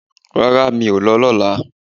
Rárá, mi ò lọ lọ́la